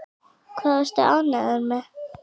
Hvað varstu ánægður með?